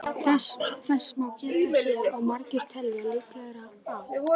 Þess má geta hér að margir telja líklegra að